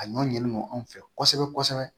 A ɲɔn ɲinelen do anw fɛ kɔsɛbɛ kosɛbɛ kosɛbɛ